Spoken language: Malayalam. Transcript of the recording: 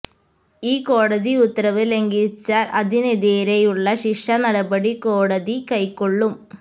ഈ കോടതി ഉത്തരവ് ലംഘിച്ചാല് അതിനെതിരേയുള്ള ശിക്ഷാ നടപടി കോടതി കൈക്കൊള്ളും